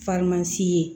ye